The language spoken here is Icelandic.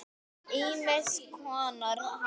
Ýmiss konar haf.